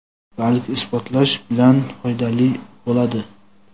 balki isbotlash bilan foydali bo‘ladi.